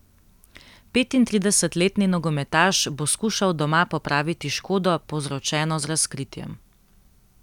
Petintridesetletni nogometaš bo skušal doma popraviti škodo, povzročeno z razkritjem.